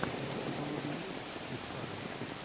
у тебя в каталоге есть стив карелл